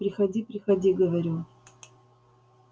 приходи приходи говорю